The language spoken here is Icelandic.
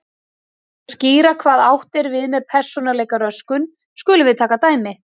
Til þess að skýra hvað átt er við með persónuleikaröskun skulum við taka dæmi.